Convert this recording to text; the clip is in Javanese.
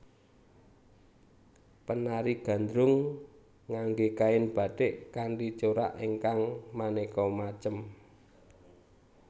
Penari gandrung ngangge kain batik kanthi corak ingkang maneka macem